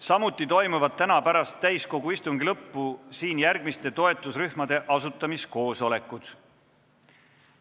Samuti toimuvad täna pärast täiskogu istungi lõppu siin järgmiste toetusrühmade asutamiskoosolekud.